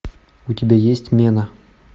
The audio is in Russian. у тебя есть мена